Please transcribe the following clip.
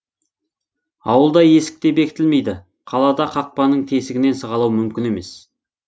ауылда есік те бекітілмейді қалада қақпаның тесігінен сығалау мүмкін емес